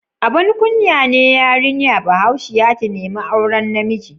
Abun kunya ne yarinya Bahaushiya ta nemi auren namiji?